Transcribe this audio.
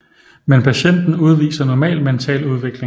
Men patienten udviser normal mental udvikling